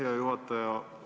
Hea juhataja!